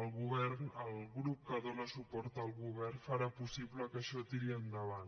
el grup que dóna suport al govern farà possible que això tiri endavant